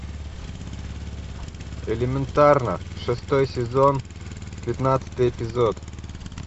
элементарно шестой сезон пятнадцатый эпизод